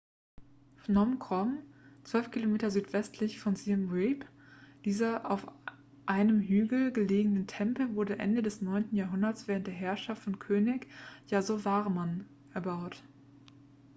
phnom krom 12 km südwestlich von siem reap dieser auf einem hügel gelegene tempel wurde ende des 9. jahrhunderts während der herrschaft von könig yasovarman erbaut